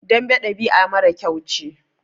Dambe ɗabi'a mara kyau ce.